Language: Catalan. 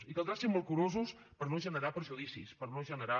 i caldrà ser molt curosos per no generar perjudicis per no generar